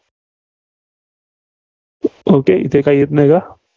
okay इथे काही येत नाही का?